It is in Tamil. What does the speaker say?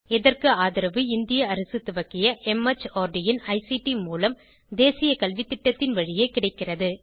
இதற்கு ஆதரவு இந்திய அரசு துவக்கிய மார்ட் இன் ஐசிடி மூலம் தேசிய கல்வித்திட்டத்தின் வழியே கிடைக்கிறது